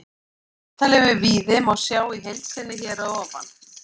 Viðtalið við Víði má sjá í heild sinni hér að ofan.